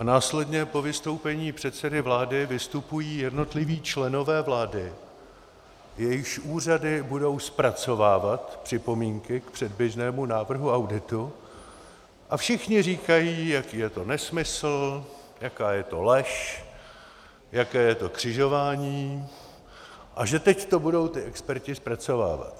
A následně po vystoupení předsedy vlády vystupují jednotliví členové vlády, jejichž úřady budou zpracovávat připomínky k předběžnému návrhu auditu, a všichni říkají, jaký je to nesmysl, jaká je to lež, jaké je to křižování a že teď to budou ti experti zpracovávat.